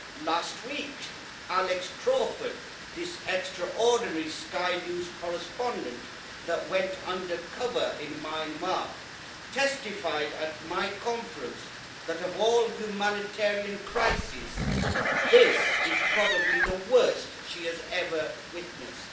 Last week, Alex Crawford, this extraordinary Sky News correspondent who went under cover in Myanmar, testified at my conference that of all humanitarian crises this is probably the worst she has ever witnessed.